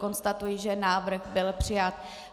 Konstatuji, že návrh byl přijat.